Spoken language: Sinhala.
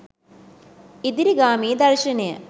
ඉදිරිගාමී දර්ශනය